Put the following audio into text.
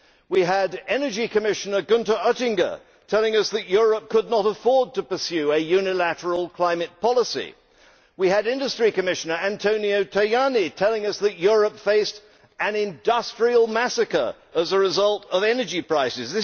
We had energy Commissioner Gunther Oettinger telling us that Europe could not afford to pursue a unilateral climate policy. We had Industry Commissioner Antonio Tajani telling us that Europe faced an industrial massacre as a result of energy prices.